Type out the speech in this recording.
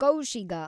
ಕೌಶಿಗ